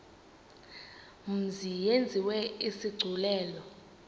mzi yenziwe isigculelo